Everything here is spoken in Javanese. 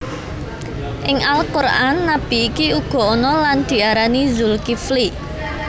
Ing Al Qur an nabi iki uga ana lan diarani Zulkifli